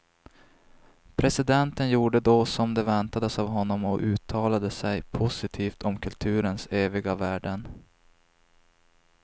Presidenten gjorde då som det väntades av honom och uttalade sig positivt om kulturens eviga värden.